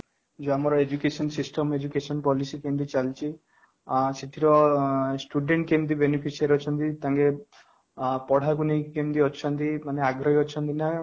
ଯୋଉ ଆମର education system education policy କେମିତି ଚାଲିଛି ଆଁ ସେଥିର student କେମିତି beneficial ଅଛନ୍ତି ତାଙ୍କେ ପଢା କୁ ନେଇକି କେମିତି ଅଛନ୍ତି ଆଗ୍ରହୀ ଅଛନ୍ତି ନା